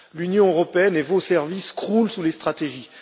L'Union européenne et vos services croulent sous les stratégies.